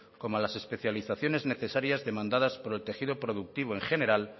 como a las especializaciones necesarias demandadas por el tejido productivo en general